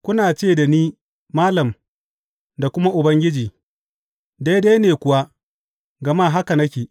Kuna ce da ni Malam’ da kuma Ubangiji,’ daidai ne kuwa, gama haka nake.